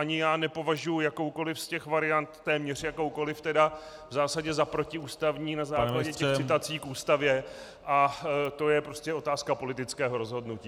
Ani já nepovažuju jakoukoliv z těch variant, téměř jakoukoliv tedy, v zásadě za protiústavní na základě těch citací k Ústavě a to je prostě otázka politického rozhodnutí.